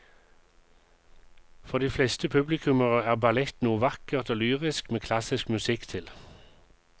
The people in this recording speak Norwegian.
For de fleste publikummere er ballett noe vakkert og lyrisk med klassisk musikk til.